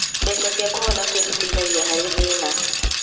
Mbeca cia kũhonokia citeithagia harĩ thĩna.